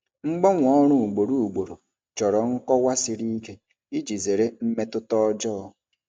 Mgbanwe ọrụ ugboro ugboro chọrọ nkọwa siri ike iji zere mmetụta ọjọọ.